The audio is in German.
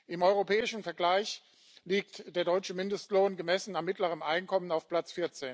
Im europäischen Vergleich liegt der deutsche Mindestlohn gemessen am mittleren Einkommen auf Platz